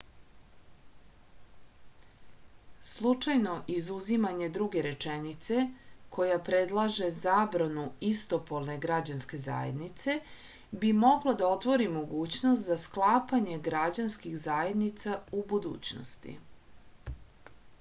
slučajno izuzimanje druge rečenice koja predlaže zabranu istopolne građanske zajednice bi moglo da otvori mogućnost za sklapanje građanskih zajednica u budućnosti